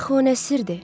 Axı o nə sirdir!